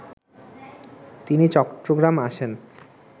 তিনি চট্টগ্রাম আসেন